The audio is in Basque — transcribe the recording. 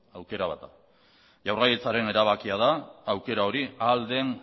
aukera bat da jaurlaritzaren erabakia da aukera hori ahal den